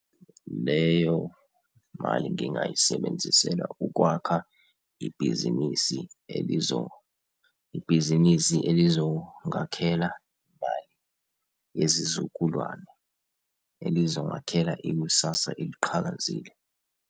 Leyo mali ngingayisebenzisela ukwakha ibhizinisi ibhizinisi elizongakhela imali yezizukulwane, elizongakhela ikusasa eliqhakazile.